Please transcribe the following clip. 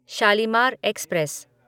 Shalimar express